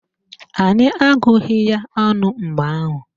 Anyị agụghị ya ọnụ mgbe ahụ